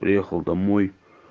приехал домой